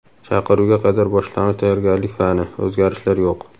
Chaqiruvga qadar boshlang‘ich tayyorgarlik fani: o‘zgarishlar yo‘q.